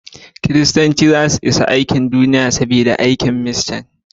Kiristanci zasu isa karshen Duniya saboda aikin mishan.